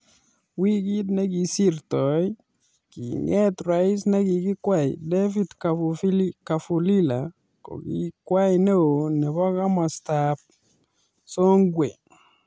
Wikit nekosirtoi kinget rais nekikikwei David kafulila kokikwei neo nebo kimasta ab songwe.